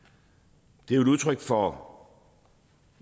det er jo et udtryk for